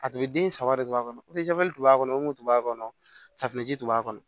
A tun bɛ den saba de don a kɔnɔ tun b'a kɔnɔ o kun b'a kɔnɔ safinɛji tun b'a kɔnɔ